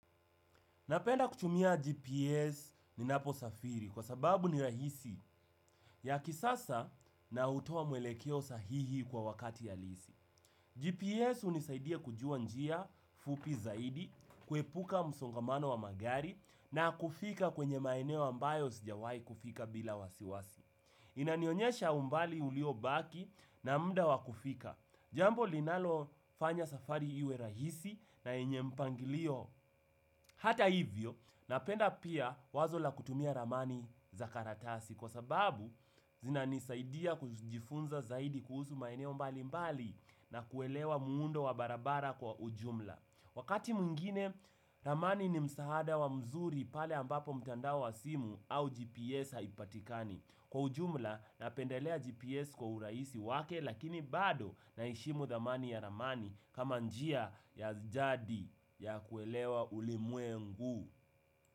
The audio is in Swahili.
Napenda kuchumia GPS ninaposafiri kwa sababu ni rahisi ya kisasa na utowa mwelekeo sahihi kwa wakati halisi. GPS unisaidia kujua njia fupi zaidi, kuepuka msongamano wa magari na kufika kwenye maeneo ambayo sijawai kufika bila wasiwasi. Inanionyesha umbali uliobaki na muda wa kufika. Jambo linalofanya safari iwe rahisi na yenye mpangilio hata hivyo napenda pia wazo la kutumia ramani za karatasi kwa sababu zinanisaidia kujifunza zaidi kuhusu maeneo mbali mbali na kuelewa muundo wa barabara kwa ujumla. Wakati mwingine, ramani ni msahada wa mzuri pale ambapo mtandao wa simu au GPS haipatikani. Kwa ujumla, napendelea GPS kwa uraisi wake, lakini bado naeshimu dhamani ya ramani kama njia ya jadi ya kuelewa ulimwengu.